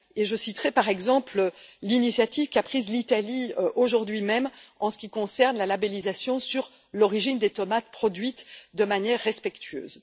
Je citerai, par exemple, l'initiative prise par l'Italie, aujourd'hui même, en ce qui concerne la labellisation de l'origine des tomates produites de manière respectueuse.